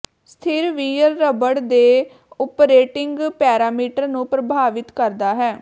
ਸਥਿਰ wear rubber ਦੇ operating parameter ਨੂੰ ਪ੍ਰਭਾਵਿਤ ਕਰਦਾ ਹੈ